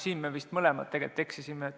Siin me vist mõlemad tegelikult eksisime.